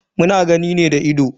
Muna gani ne da ido.